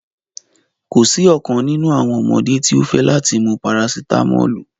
Ko si ọkan ninu awọn ọmọde ti o fẹ lati mu parasitámọ́lù